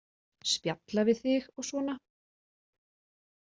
Spjalla við þig og svona.